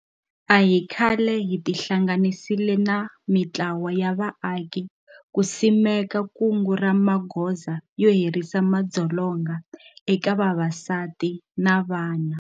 A hi khale hi ti hlanganisile na mitlawa ya vaaki ku simeka kungu ra magoza yo herisa madzolonga eka vavasati na vana.